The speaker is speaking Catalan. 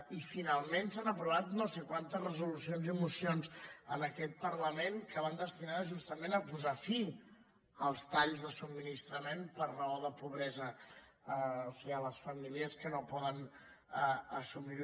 i finalment s’han aprovat no sé quantes resolucions i mocions en aquest parlament que van destinades justament a posar fi als talls de subministrament per raó de pobresa o sigui a les famílies que no ho poden assumir